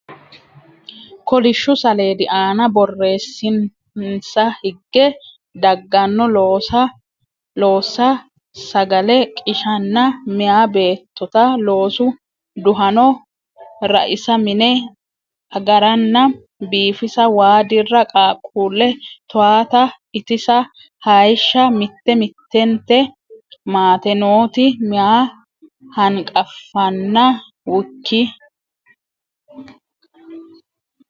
kolishshu saleedi aana borreessinsa higge dagganno loossa sagale qishanna Meya Beettota Loosu Duhano raisa mine agaranna biifisa waa dirra qaaqquulle towaata itisa hayishsha Mitte mittente maate nooti meya hanqafanna w k.